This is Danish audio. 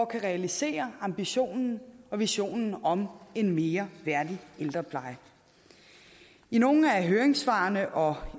kan realisere ambitionen og visionen om en mere værdig ældrepleje i nogle af høringssvarene og